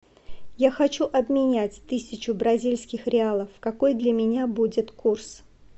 я хочу обменять тысячу бразильских реалов какой для меня будет курс